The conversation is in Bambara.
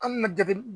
An bɛna dege